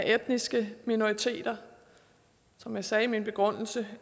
etniske minoriteter som jeg sagde i min begrundelse